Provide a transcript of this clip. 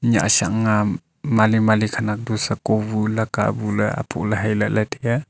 nyah shah ang a mali mali khenek du sako bu laka bu le asho la tai a.